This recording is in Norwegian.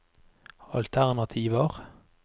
alternativer